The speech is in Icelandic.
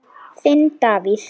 Þinn Davíð.